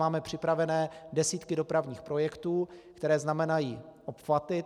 Máme připravené desítky dopravních projektů, které znamenají obchvaty.